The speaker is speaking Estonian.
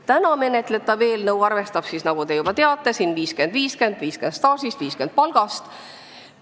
Täna menetletav eelnõu näeb ette, nagu te juba teate, 50 : 50 ehk 50% staaži ja 50% palga alusel.